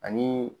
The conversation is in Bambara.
Ani